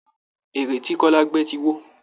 Ère ti kọ́lá gbẹ́ ti wó